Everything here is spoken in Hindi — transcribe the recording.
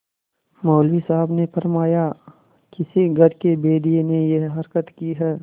मौलवी साहब ने फरमाया किसी घर के भेदिये ने यह हरकत की है